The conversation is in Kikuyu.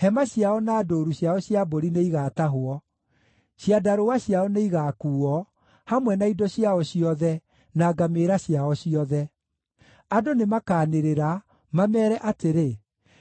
Hema ciao na ndũũru ciao cia mbũri nĩigatahwo; ciandarũa ciao nĩigakuuo, hamwe na indo ciao ciothe, na ngamĩĩra ciao ciothe. Andũ nĩmakanĩrĩra, mameere atĩrĩ,